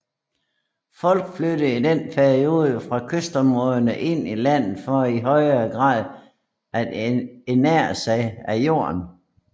Folk flyttede i denne periode fra kystområderne ind i landet for i højre grad at ernære sig af jorden